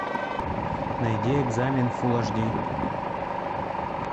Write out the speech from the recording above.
найди экзамен фулл аш ди